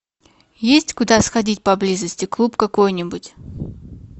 есть куда сходить поблизости клуб какой нибудь